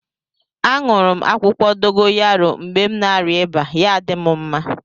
A nụrụ m akwukwo dogoyaro mgbe na arịa ịba ya-adi m mma.